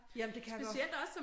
Jamen det kan jeg godt